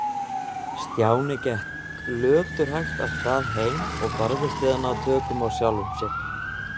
Stjáni gekk löturhægt af stað heim og barðist við að ná tökum á sjálfum sér.